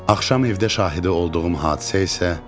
Axşam evdə şahidi olduğum hadisə isə.